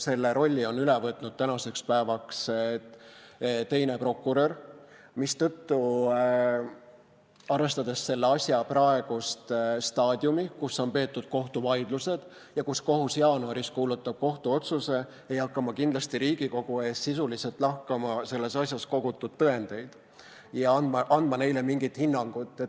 Selle rolli on nüüdseks üle võtnud teine prokurör, mistõttu, arvestades selle asja praegust staadiumi, kus on peetud kohtuvaidlusi ja kus kohus jaanuaris kuulutab välja kohtuotsuse, ei hakka ma kindlasti Riigikogu ees sisuliselt lahkama selles asjas kogutud tõendeid ega andma neile mingit hinnangut.